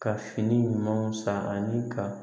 Ka fini ɲumanw san ani ka